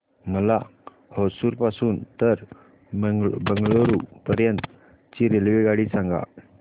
मला होसुर पासून तर बंगळुरू पर्यंत ची रेल्वेगाडी सांगा